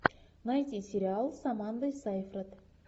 найти сериал с амандой сайфред